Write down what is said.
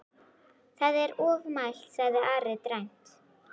Það er ofmælt, sagði Ari dræmt.